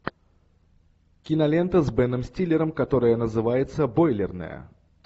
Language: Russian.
кинолента с беном стиллером которая называется бойлерная